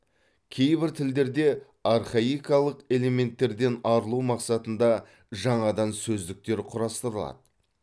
кейбір тілдерде архаикалық элементтерден арылу мақсатында жаңадан сөздіктер құрастырылады